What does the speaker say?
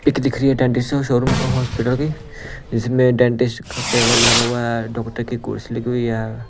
एक दिख रही है डेंटिस्ट शोरूम हॉस्पिटल की जिसमें डेंटिस्ट का टेबल लगा हुआ है डॉक्टर की कुर्सी लगी हुई है।